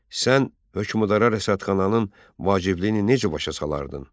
Sən hökmdara rəsədxananın vacibliyini necə başa salardın?